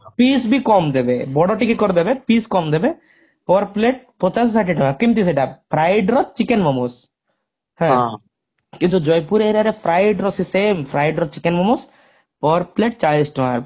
piece ବି କମ ଦେବେ ବଡ ଟିକେ କରିଦେବେ piece ବି କମ ଦେବେ per plate ପଚାଶରୁ ଷାଠିଏ ଟଙ୍କା କିମତି ସେଟା fried ର chicken momos କିନ୍ତୁ ଜୟପୁର area ରେ fried ର ସେ same fried ର chicken momos per plate ଚାଳିଶ ଟଙ୍କା